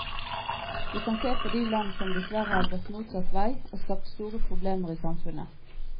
Vi kan se på de land som dessverre har gått motsatt vei og skapt store problemer i samfunnet.